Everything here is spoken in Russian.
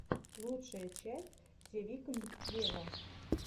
лучшая часть зе викнд вево